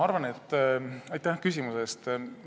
Aitäh küsimuse eest!